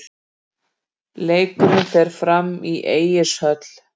Leikurinn fer fram í Egilshöll.